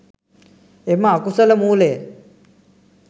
එම අකුසල මූලය